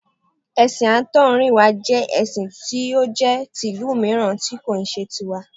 Ẹ̀sìn àtọ̀húnrìnwá jẹ́ ẹṣin tí ó jẹ́ ìlú mìíràn tí kì í ṣe ti wa